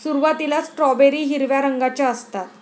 सुरुवातीला स्ट्रॉबेरी हिरव्या रंगाच्या असतात.